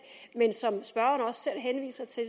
men som spørgeren også selv henviser til